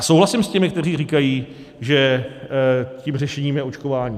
A souhlasím s těmi, kteří říkají, že tím řešením je očkování.